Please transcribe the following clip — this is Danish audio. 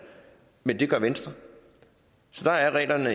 men det gør venstre så der er reglerne